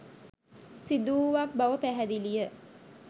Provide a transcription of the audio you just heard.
සිදුවුවක් බව පැහැදිලිය